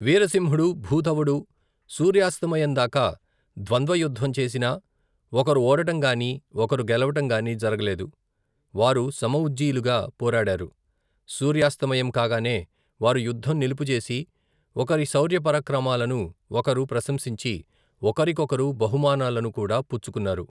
వీరసింహుడు, భూధవుడు, సూర్యాస్తమయందాకా, ద్వంద్వ యుద్దం చేసినా ఒకరు ఓడటంగాని, ఒకరు గెలవటం గాని జరగలేదు, వారు సమ ఉజ్జీలుగా పోరాడారు, సూర్యాస్తమయం కాగానే వారు యుద్ధం నిలుపుచేసి, ఒకరి శౌర్యపరాక్రమాలను ఒకరు ప్రశంసించి ఒకరికొకరు బహుమానాలను కూడా పుచ్చుకున్నారు.